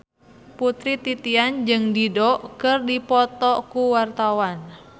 Putri Titian jeung Dido keur dipoto ku wartawan